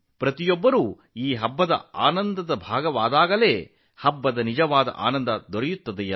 ಅಷ್ಟಕ್ಕೂ ಈ ಹಬ್ಬದ ನಿಜವಾದ ಸಂತೋಷವಿರುವುದು ಎಲ್ಲರೂ ಅದರ ಭಾಗವಾದಾಗ ಮಾತ್ರ